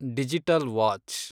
digital watch